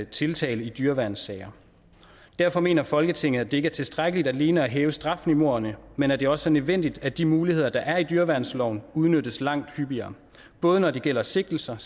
tiltale i dyreværnssager derfor mener folketinget at det ikke er tiltrækkeligt alene at hæve strafniveauerne men at det også er nødvendigt at de muligheder der er i dyreværnsloven udnyttes langt hyppigere både når det gælder sigtelser